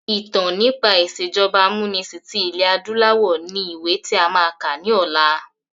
Ìtàn nípa ìsèjọba amúnisìn tí ilẹ̀ adúláwọ̀ ni ìwé tí a máa kà ni ọ̀la.